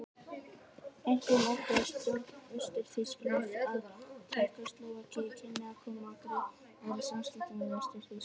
Einkum óttaðist stjórn Austur-Þýskalands að Tékkóslóvakía kynni að koma á greiðari samskiptum við Vestur-Þýskaland.